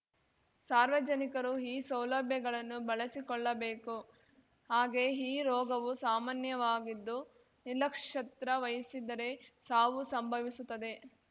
ಸಾರ್ವಜನಿಕರು ಈ ಸೌಲಭ್ಯಗಳನ್ನು ಬಳಸಿಕೊಳ್ಳಬೇಕು ಹಾಗೇ ಈ ರೋಗವು ಸಾಮಾನ್ಯವಾಗಿದ್ದು ನಿರ್ಲಕ್ಷತ್ರ ವಹಿಸಿದರೆ ಸಾವು ಸಂಭವಿಸುತ್ತದೆ